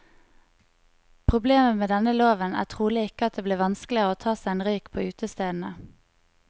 Problemet med denne loven er trolig ikke at det blir vanskeligere å ta seg en røyk på utestedene.